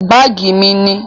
Báàgí mí ni.